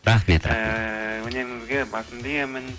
рахмет рахмет ыыы өнеріңізге басымды иемін